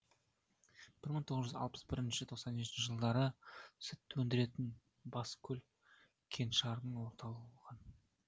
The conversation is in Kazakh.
бір мың тоғыз жүз алпыс бірінші тоқсан жетінші жылдары сүт өндіретін баскөл кеңшарының орталығы болған